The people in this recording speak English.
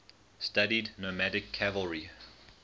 studied nomadic cavalry